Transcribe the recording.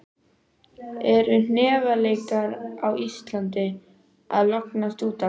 Eru hnefaleikar á Íslandi að lognast út af?